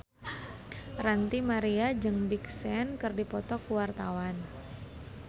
Ranty Maria jeung Big Sean keur dipoto ku wartawan